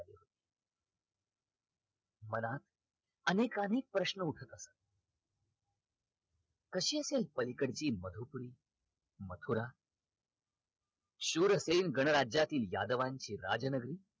मनात अनेक अनेक प्रश्न उठत होते कशी असेल पलीकडची मधुपुरी मथुरा शूरसेन गणराज्यातील यादवांची राजनगरी